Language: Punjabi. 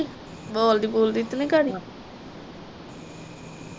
ਬੋਲਦੀ ਬੂਲਦੀ ਤੇ ਨਹੀਂ ਗਾੜੀ